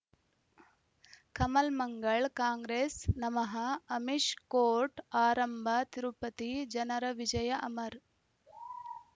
ಕಮಲ್ ಮಂಗಳ್ ಕಾಂಗ್ರೆಸ್ ನಮಃ ಅಮಿಷ್ ಕೋರ್ಟ್ ಆರಂಭ ತಿರುಪತಿ ಜನರ ವಿಜಯ ಅಮರ್